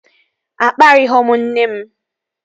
Akparịghọ m nne m